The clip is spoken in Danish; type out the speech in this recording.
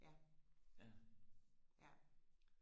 ja ja